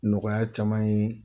Nɔgɔya caman ye